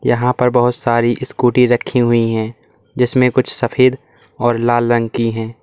यहां पर बहुत सारी स्कूटी रखी हुई है जिसमें कुछ सफेद और लाल रंग की है।